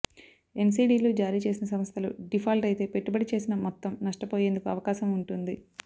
ఎన్సీడీలు జారీ చేసిన సంస్థలు డీఫాల్ట్ అయితే పెట్టుబడి చేసిన మొత్తం నష్టపోయేందుకు అవకాశం ఉంటుంది